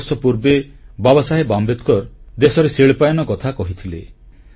ବହୁ ବର୍ଷ ପୂର୍ବେ ବାବାସାହେବ ଆମ୍ବେଦକର ଦେଶରେ ଶିଳ୍ପାୟନ କଥା କହିଥିଲେ